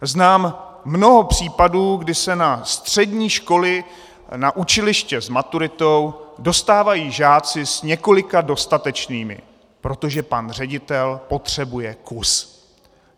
Znám mnoho případů, kdy se na střední školy, na učiliště s maturitou dostávají žáci s několika dostatečnými, protože pan ředitel potřebuje kus.